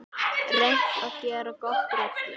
Reynt að gera gott úr öllu.